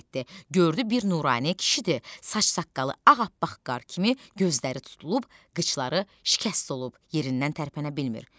Gördü bir nurani kişidir, saç-saqqalı ağappaq qar kimi, gözləri tutulub, qıçları şikəst olub, yerindən tərpənə bilmir.